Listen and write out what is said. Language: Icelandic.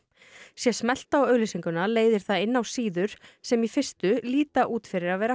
sé smellt á auglýsinguna leiðir það inn á síður sem í fyrstu líta út fyrir að vera